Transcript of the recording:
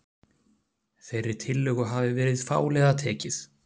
Þeirri tillögu hafi verið fálega tekið